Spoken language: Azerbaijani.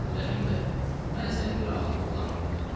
Hacı dedi Rəhim bəy, mən səni bir ağıllı oğlan bilirdim.